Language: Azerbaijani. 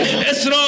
İsrail!